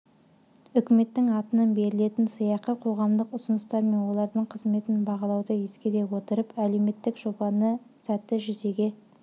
үкіметтің атынан берілетін сыйақы қоғамдық ұсыныстар мен олардың қызметін бағалауды ескере отырып әлеуметтік жобаны сәтті жүзеге